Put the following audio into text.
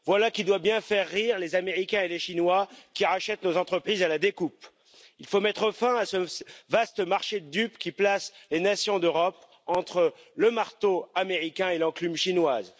Voilà qui doit bien faire rire les Américains et les Chinois, qui rachètent nos entreprises à la découpe. Il faut mettre fin à ce vaste marché de dupes qui place les nations d'Europe entre le marteau américain et l'enclume chinoise.